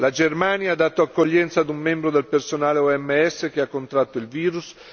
La Germania ha dato accoglienza ad un membro del personale OMS che ha contratto il virus.